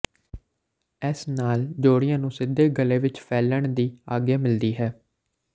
ਇਸ ਨਾਲ ਜੋੜਿਆਂ ਨੂੰ ਸਿੱਧੇ ਗਲੇ ਵਿਚ ਫੈਲਣ ਦੀ ਆਗਿਆ ਮਿਲਦੀ ਹੈ